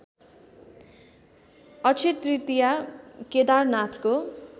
Akshay Tritiya केदारनाथको